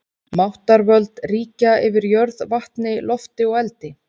Máttarvöld ríkja yfir jörð, vatni, lofti og eldi.